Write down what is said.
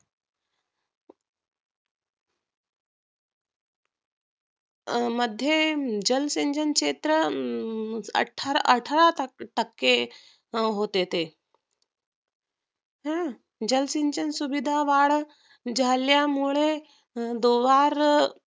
मध्ये जल सिंचन क्षेत्र हम्म अठरा टक्के होते ते हम्म जलसिंचन सुविधा वाढ झाल्यामुळे द्वार